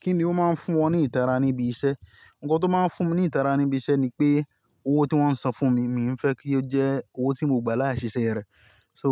Kí ni ó máa ń fún ọ ní ìtara níbi iṣẹ́? Ǹkan tó máa ń fún mi ní ìtara níbi iṣẹ́ ni pé owó tí wọ́n san fún mi, mi ì fẹ́ kí ó jẹ́ owó tí mo gba láì ṣeṣẹ́ rẹ̀. So